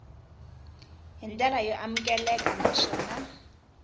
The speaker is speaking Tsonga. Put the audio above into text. hi ndlela yo amukeleka naswona